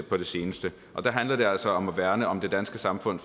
på det seneste og der handler det altså om at værne om det danske samfund